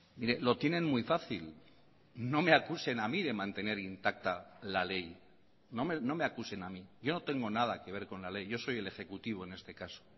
mire lo tienen muy fácil no me acusen a mí de mantener intacta la ley no me acusen a mí yo no tengo nada que ver con la ley yo soy el ejecutivo en este caso